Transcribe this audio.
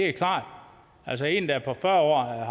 er klart altså en der er fyrre